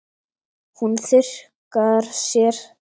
Hún þurrkar sér.